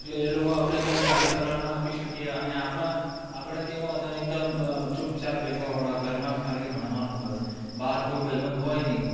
એટલે એ લોકો આપડે કંઈક સારી સલાહ ના આપી શકીએ, અને આપણાં, આપણે કેવા હતા એકદમ ચૂપચાપ બેસવા વાળા, ઘરમાં જ ખાલી ભણવાનું બસ, બહાર કોઈ ભાઈબંધ હોય નહીં.